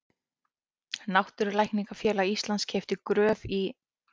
Náttúrulækningafélag Íslands keypti Gröf í